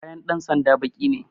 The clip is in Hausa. Kayan dan sanda baƙi ne